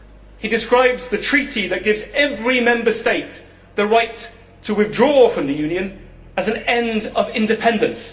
He describes the Treaty that gives every Member State the right to withdraw from the Union as an end of independence.